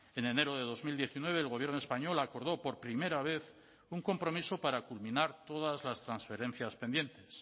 en enero de dos mil diecinueve el gobierno español acordó por primera vez un compromiso para culminar todas las transferencias pendientes